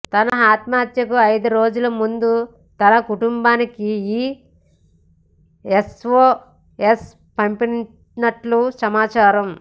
తన ఆత్మహత్యకు ఐదు రోజుల ముందు తన కుటుంబానికి ఈ ఎస్ఓఎస్ పంపినట్లు సమాచారం